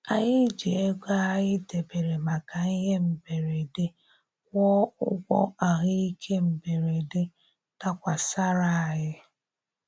Anyị ji ego anyị debere maka ihe mberede kwụọ ụgwọ ahụ ike mberede dakwasara anyị